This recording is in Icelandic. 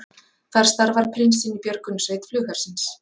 Þar starfar prinsinn í björgunarsveit flughersins